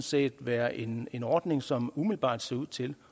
set være en en ordning som umiddelbart ser ud til